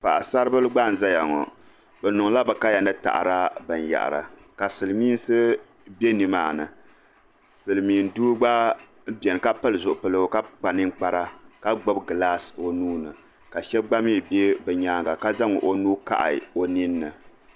Paɣasaribila gba n zaya ŋɔ bi niŋdila bɛ kaya ni taɣada binyahari ka silimiinsi be nimaani silimiin doo gba beni ka pili zuɣubiligu ka kpa niŋkpara ka gbibi gilaasi o nuuni ka shɛba gba mii be bɛ nyaanga ka zaŋ o nuu kahi o ninni.